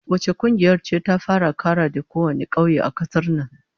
Wace kungiyar ce ta fara karade kowane kauye a kasar nan?